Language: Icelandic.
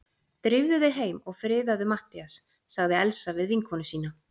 Drífðu þig heim og friðaðu Matthías sagði Elsa við vinkonu sína.